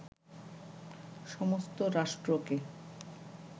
সমস্ত রাষ্ট্রকে